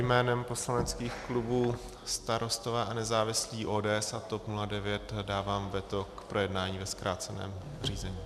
Jménem poslaneckých klubů Starostové a nezávislí, ODS a TOP 09 dávám veto k projednání ve zkráceném řízení.